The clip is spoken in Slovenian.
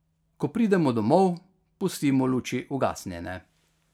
Ko pridemo domov, pustimo luči ugasnjene.